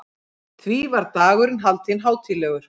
Því var dagurinn haldinn hátíðlegur.